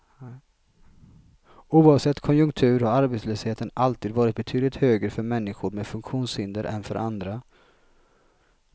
Oavsett konjunktur har arbetslösheten alltid varit betydligt högre för människor med funktionshinder än för andra.